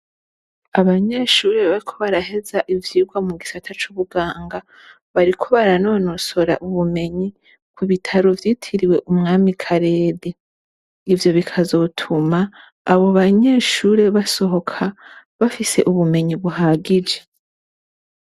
Abanyeshure bariko baraheza ivyirwa mugisata cubuganga bariko baranonosora ubumenyi kubitaro vyitiriwe umwami karede ivyo bikazotuma abobanyeshure basohoka bafise ubumenyi buhagije